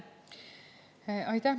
Aitäh!